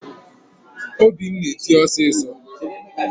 Obi m na-eti osisọ